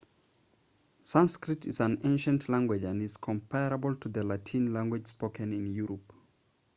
sanskrit is an ancient language and is comparable to the latin language spoken in europe